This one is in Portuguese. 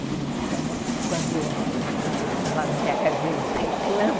Então, quando lá na minha casa eles reclamam...